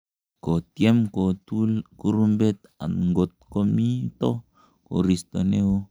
kotyem kotul kurumbet angot ko mito koristo ne oo